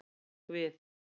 Ég hrekk við.